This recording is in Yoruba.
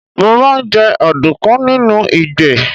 Mo máa ń jẹ ọ̀dùnkún nínú ìgbẹ́.